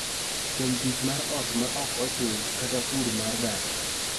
Kuom tich mar ot ma ok ochul kata pur mar dak.